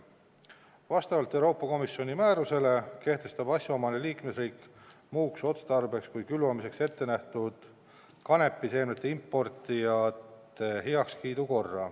Vastavalt Euroopa Komisjoni määrusele kehtestab asjaomane liikmesriik muuks otstarbeks kui külvamiseks ette nähtud kanepiseemnete importijate heakskiidu korra.